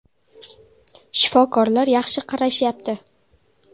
Shifokorlar yaxshi qarashyapti.